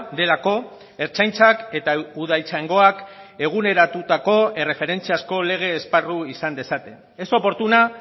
delako ertzaintzak eta udaltzaingoak eguneratutako erreferentziazko lege esparru izan dezaten es oportuna